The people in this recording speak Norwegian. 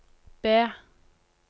B